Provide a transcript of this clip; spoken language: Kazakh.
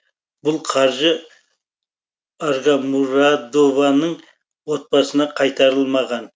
бұл қаржы агамурадованың отбасына қайтарылмаған